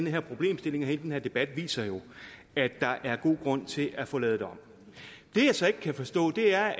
her problemstilling og hele den her debat viser jo at der er god grund til at få lavet det om det jeg så ikke kan forstå er